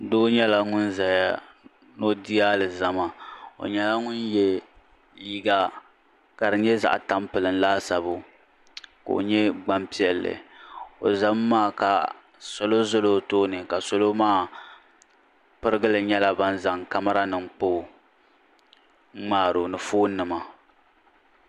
Doo nyɛla ŋun zaya noo di alizama o nyɛla ŋun yɛ liiga ka di nyɛ zaɣ tampilim laasabu koo nyɛ gbampiɛlli o zam maa ka salo zala o tooni salo maa pirigili nyɛla ban zaŋ kamaranim n kpoo n ŋmaaro ni foonnima